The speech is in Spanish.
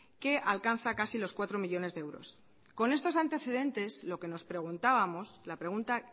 que alcanza casi los cuatro millónes de euros con estos antecedentes lo que nos preguntábamos la pregunta